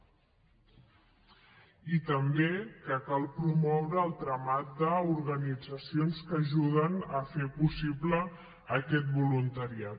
i també que cal promoure el tramat d’organitzacions que ajuden a fer possible aquest voluntariat